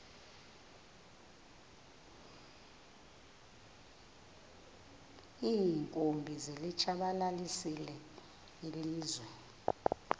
iinkumbi zilitshabalalisile ilizwe